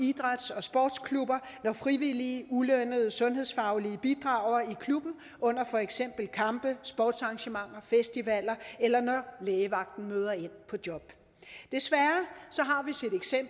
idræts og sportsklubber når frivillige ulønnede sundhedsfaglige bidrager i klubben under for eksempel kampe sportsarrangementer festivaler eller når lægevagten møder ind på job desværre